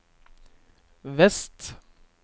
vest